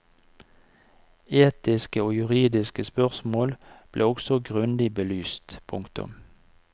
Etiske og juridiske spørsmål blir også grundig belyst. punktum